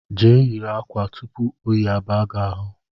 Je yiri ákwà tupu oyi abaa gị ahụ